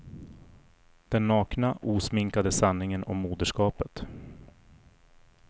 Den nakna, osminkade sanningen om moderskapet.